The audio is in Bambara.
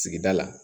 Sigida la